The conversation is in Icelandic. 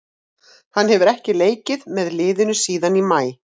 Hann hefur ekki leikið með liðinu síðan í maí.